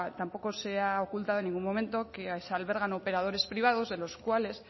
tampoco se ha ocultado en ningún momento que se albergan operadores privados de los cuales